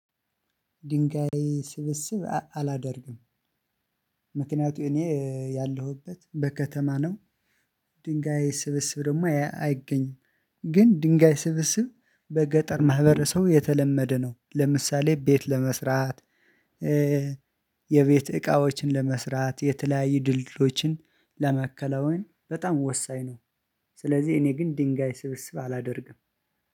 ድንጋይ ስብስብ አላደርግም። ምክንያቱም እኔ ያለሁበት በከተማ ነው። ድንጋይ ስብስብ ደግሞ አይገኝም። ግን ድንጋይ ስብስብ በገጠር ማህበር ሰው የተለመደ ነው። ለምሳሌ ቤት ለመስራት የቤት እቃዎችን ለመስራት የተለያየ ድልድሎችን ለመከላወን በጣም ወሳኝ ነው። ስለዚህ እኔ ግን ድንጋይ ስብስብ አላደርግም